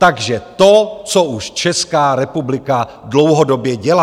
Takže to, co už Česká republika dlouhodobě dělá.